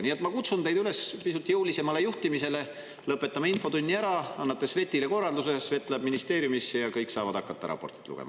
Nii et ma kutsun teid üles pisut jõulisemale juhtimisele: lõpetame infotunni ära, annate Svetile korralduse, Svet läheb ministeeriumisse ja kõik saavad hakata raportit lugema.